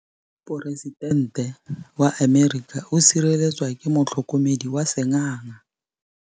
Poresitêntê wa Amerika o sireletswa ke motlhokomedi wa sengaga.